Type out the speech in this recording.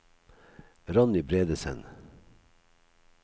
Ronny Bredesen